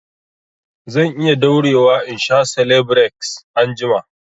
Zan iya daurewa in sha selebireks anjima